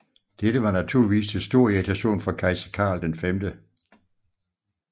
Dette var naturligvis til stor irritation for Kejser Karl 5